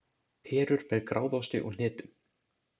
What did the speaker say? Perur með gráðosti og hnetum